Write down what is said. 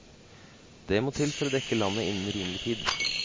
Det må til for å dekke landet innen rimelig tid.